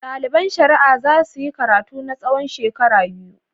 Ɗaliban shari'a za su yi karatu na tsawon shekaru biyar.